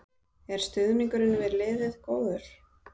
Er stuðningurinn við liðið góður?